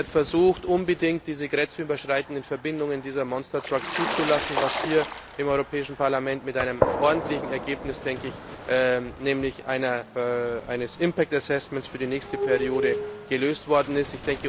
Sie hat versucht, unbedingt diese grenzüberschreitenden Verbindungen dieser Monstertrucks zuzulassen, was hier im Europäischen Parlament mit einem ordentlichen Ergebnis, nämlich eines impact assessment für die nächste Periode gelöst worden ist.